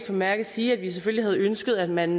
bemærket sige at vi selvfølgelig havde ønsket at man